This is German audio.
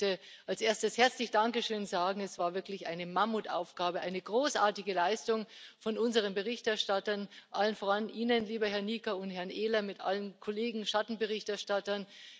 Ich möchte als erstes herzlich danke schön sagen Es war wirklich eine Mammutaufgabe, eine großartige Leistung von unseren Berichterstattern, allen voran Ihnen, lieber Herr Nica und Herr Ehler, mit allen Kollegen Schattenberichterstattern.